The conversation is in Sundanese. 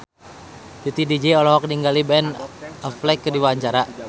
Titi DJ olohok ningali Ben Affleck keur diwawancara